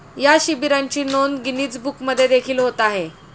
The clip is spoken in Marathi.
या शिबिरांची नोंद गिनीज बुकमध्ये देखील होत आहे